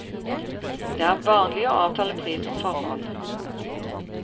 Det er vanlig å avtale pris på forhånd.